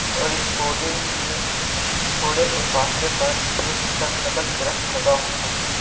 और इस पौधे के थोड़े से फासले पर एक सरसबज दरख्त लगा हुआ है।